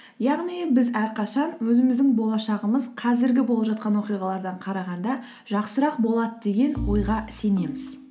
яғни біз әрқашан өзіміздің болашағымыз қазіргі болып жатқан оқиғалардан қарағанда жақсырақ болады деген ойға сенеміз